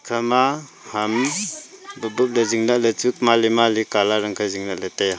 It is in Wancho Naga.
ekhama ham bop bop ley zing lah ley chu mali mali colour ankhe zing lah ley tai a.